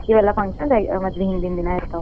ಹೂ ಹೌದೇನ?